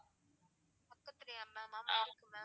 பக்கதுலையா ma'am? ஆமா இருக்கு ma'am.